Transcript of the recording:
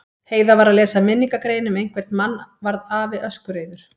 Heiða var að lesa minningargrein um einhvern mann varð afi öskureiður.